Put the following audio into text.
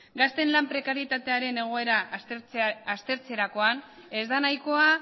gazteen lan prekarietatearen egoera aztertzerakoan ez da nahikoa